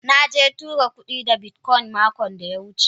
Na tura kudi da bitcoin makon da ya wuce.